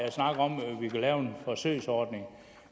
vi vil lave en forsøgsordning